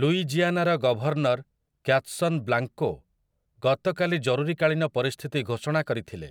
ଲୁଇଜିଆନାର governor Kathleen Blanco ଗତକାଲି ଜରୁରୀକାଳୀନ ପରିସ୍ଥିତି ଘୋଷଣା କରିଥିଲେ,